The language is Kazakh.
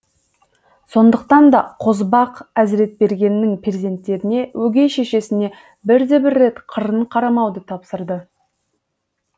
сондықтан да қозыбақ әзіретбергеннің перзенттеріне өгей шешесіне бірде бір рет қырын қарамауды тапсырды